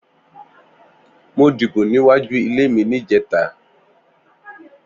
Mó dibó niwájú ilé mi nijètá